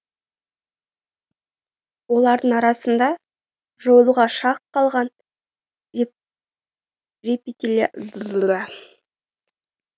олардың арасында жойылуға шақ қалған рептилиялар да бар